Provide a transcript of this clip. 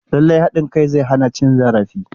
Lallai haɗin kai zai hana cin zarafi.